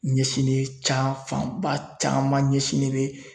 Ɲɛsinnen ca fanba caman ɲɛsinnen bɛ